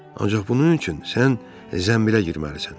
Ancaq bunun üçün sən zənbilə girməlisən.